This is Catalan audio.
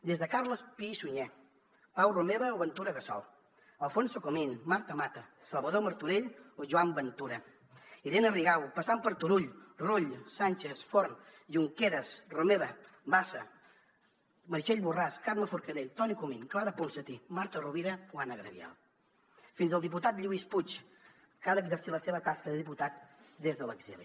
des de carles pi i sunyer pau romeva o ventura gassol alfonso comín marta mata salvador martorell o joan ventura irene rigau passant per turull rull sànchez forn junqueras romeva bassa meritxell borràs carme forcadell toni comín clara ponsatí marta rovira o anna gabriel fins al diputat lluís puig que ha d’exercir la seva tasca de diputat des de l’exili